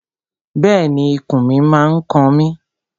Bẹ́ẹ̀ni, ikùn mi n kan mi